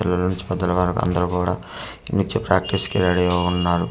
పిల్లల నుంచి పెద్దల వరకు అందరు కూడా నేనిచ్చే ప్రాక్టీస్ కి రెడీగా ఉన్నారు.